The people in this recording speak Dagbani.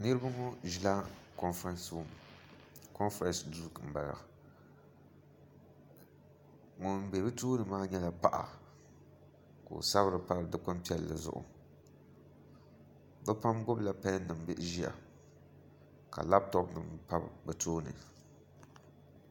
Niraba ŋo ʒila konfirɛns duu ŋun bɛ bi tooni maa nyɛla paɣa ka o sabiri pari dikpuni piɛlli zuɣu bi pam gbubila pɛn nim ʒiya ka labtop nim pa bi tooni